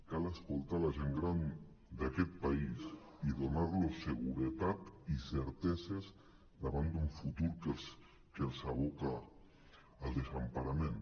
cal escoltar la gent gran d’aquest país i donar·los seguretat i certeses davant d’un futur que els aboca al desemparament